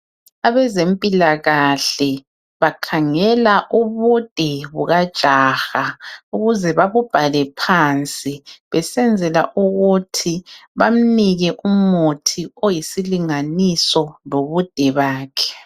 Abezempilakahle bakhangela ubude bukajaha ukuze babubhale phansi besenzela ukuthi bamnike umuthi oyisilinganiso lobude bakhe.